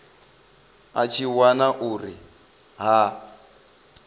a tshi wana uri ha